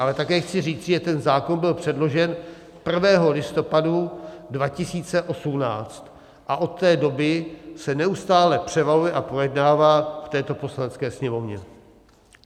Ale také chci říci, že ten zákon byl předložen 1. listopadu 2018 a od té doby se neustále převaluje a projednává v této Poslanecké sněmovně.